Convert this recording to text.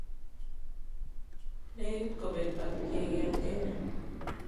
Negit kopeeg akyeg en Kenya